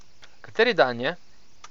Kateri dan je?